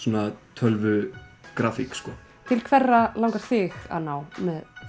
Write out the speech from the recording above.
tölvugrafík til hverra langar þig að ná með